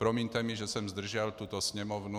Promiňte mi, že jsem zdržel tuto sněmovnu.